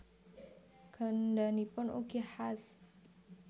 Gandhanipun ugi khas